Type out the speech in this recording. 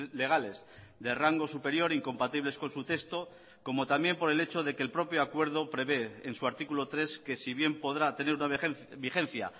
legales de rango superior incompatibles con su texto como también por el hecho de que el propio acuerdo prevé en su artículo tres que si bien podrá tener una vigencia